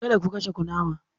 Kada ku kashe kunama!